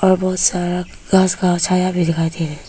और बहुत सारा घास का छाया भी दिखाई दे रहा हैं।